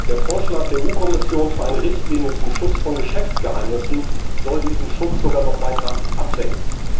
Der Vorschlag der EU Kommission für eine Richtlinie zum Schutz von Geschäftsgeheimnissen soll diesen Schutz sogar noch weiter absenken.